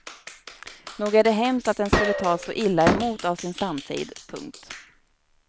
Nog är det hemskt att den skulle tas så illa emot av sin samtid. punkt